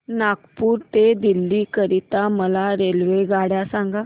नागपुर ते दिल्ली करीता मला रेल्वेगाड्या सांगा